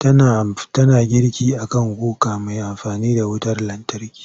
Tana girki a kan kuka mai amfani da wutar lantarki.